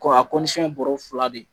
Kɔ a ye bɔrɔ fila de ye.